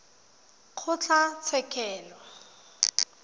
kgotlatshekelo